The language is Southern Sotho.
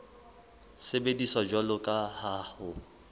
sebediswa jwalo ka ha ho